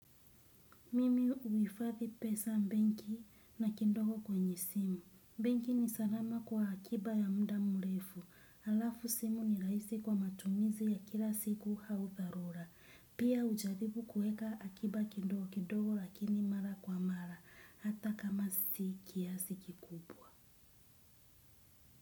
Mimi uhifathi pesa benki na kidogo kwenye simu. Benki ni salama kwa akiba ya muda mrefu. Alafu simu ni rahisi kwa matumizi ya kila siku au dharura. Pia ujaribu kuweka akiba kidogo kidogo lakini mara kwa mara. Hata kama si kiasi kikubwa.